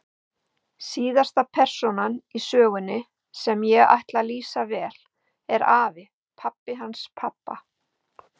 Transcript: Síðasta persónan í sögunni, sem ég ætla að lýsa vel, er afi, pabbi hans pabba.